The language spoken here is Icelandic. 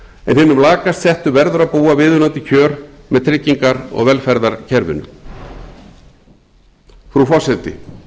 en hinum lakast settu verður að búa viðunandi kjör með trygginga og velferðarkerfinu frú forseti